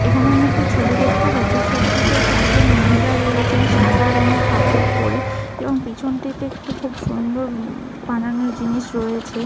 এইখানে আমি একটি ছবি দেখতে পাচ্ছি। ছবিটিতে চারজন মহিলা রয়েছেন সাদা রংয়ের কাপড় পরে এবং পেছনটিতে খুব সুন্দর উ-ম বানানো জিনিস রয়েছে।